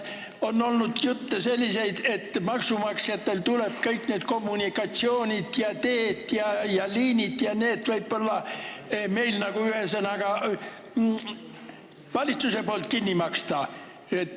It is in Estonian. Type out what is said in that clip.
On olnud selliseid jutte, et maksumaksjatel tuleb kõik need kommunikatsioonid, teed ja liinid ja muu, ühesõnaga, et need tuleb valitsusel kinni maksta.